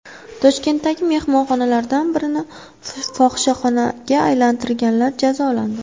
Toshkentdagi mehmonxonalardan birini fohishaxonaga aylantirganlar jazolandi.